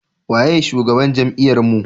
waye shugaban jami'ar mu?